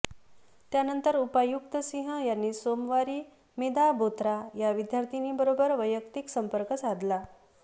त्यानंतर उपायुक्त सिंह यांनी सोमवारी मेधा बोथरा या विद्यार्थिनीबरोबर वैयक्तिक संपर्क साधला